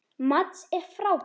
Mads er frábær.